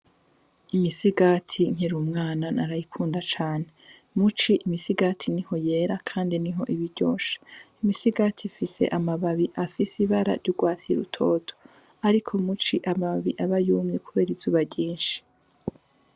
Imisigati nkir'umwana narayikunda cane. Muci imisigati niho yera kandi niho iba iryoshe. Imisigati ifise amababi afise ibara n'ugwatsi rutoto, ariko muci amababi aba yumye kubera izuba ryinshi.